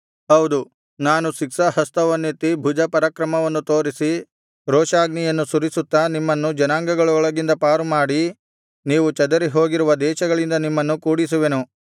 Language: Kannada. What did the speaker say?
ಹೌದು ನಾನು ಶಿಕ್ಷಾಹಸ್ತವನ್ನೆತ್ತಿ ಭುಜಪರಾಕ್ರಮವನ್ನು ತೋರಿಸಿ ರೋಷಾಗ್ನಿಯನ್ನು ಸುರಿಸುತ್ತಾ ನಿಮ್ಮನ್ನು ಜನಾಂಗಗಳೊಳಗಿಂದ ಪಾರುಮಾಡಿ ನೀವು ಚದರಿಹೋಗಿರುವ ದೇಶಗಳಿಂದ ನಿಮ್ಮನ್ನು ಕೂಡಿಸುವೆನು